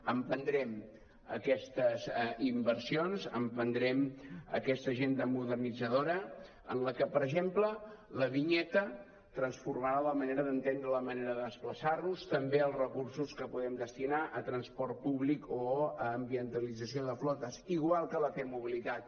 emprendrem aquestes inversions emprendrem aquesta agenda modernitzadora en què per exemple la vinyeta transformarà la manera d’entendre la manera de desplaçar nos també els recursos que podem destinar a transport públic o a ambientalització de flotes igual que la t mobilitat